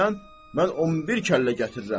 mən 11 kəllə gətirirəm.